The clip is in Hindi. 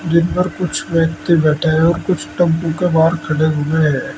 जिन पर कुछ व्यक्ति बैठे हैं और कुछ टेम्पू के बाहर खड़े हुए हैं।